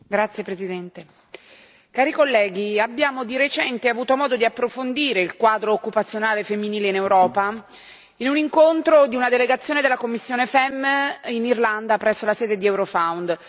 Signor Presidente, onorevoli colleghi, abbiamo di recente avuto modo di approfondire il quadro occupazionale femminile in Europa in un incontro di una delegazione della commissione FEMM in Irlanda presso la sede di Eurofound.